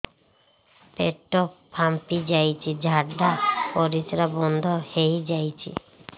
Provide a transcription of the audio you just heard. ପେଟ ଫାମ୍ପି ଯାଇଛି ଝାଡ଼ା ପରିସ୍ରା ବନ୍ଦ ହେଇଯାଇଛି